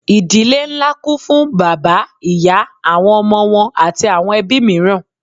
Ìdílé ńlá kún fún bàbá, ìyá, àwọn ọmọ wọn àti àwọn ẹbí mìíràn.